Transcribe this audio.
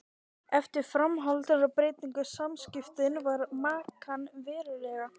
Eftir framhjáhald breytast samskiptin við makann verulega.